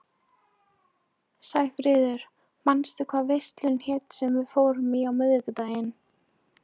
Sæfríður, manstu hvað verslunin hét sem við fórum í á miðvikudaginn?